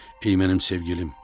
Ey mənim sevgilim!